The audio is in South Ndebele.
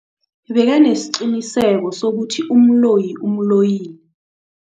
Bekanesiqiniseko sokuthi umloyi umloyile.